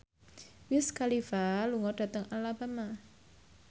Wiz Khalifa lunga dhateng Alabama